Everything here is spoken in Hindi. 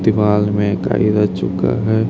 दीवाल में गाड़ी रह चुका है।